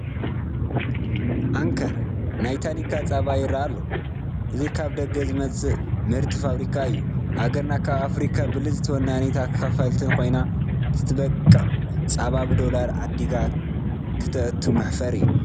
ኣንከር ናይ ታኒካ ፃባ ይርአ ኣሎ፡፡ እዚ ካብ ደገ ዝመፅእ ምህርቲ ፋብሪካ እዩ፡፡ ሃገርና ካብ ኣፍሪካ ብልፅቲ ወናኒት ኣኻልፍት ኮይና እንትተብቅዕ ፃባ ብዶላር ዓዲጋ ክተእቱ መሕፈሪ እዩ፡፡